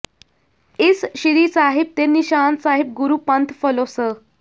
ਇਸ ਸ੍ਰੀ ਸਾਹਿਬ ਤੇ ਨਿਸ਼ਾਨ ਸਾਹਿਬ ਗੁਰੂ ਪੰਥ ਫਲੋਂ ਸ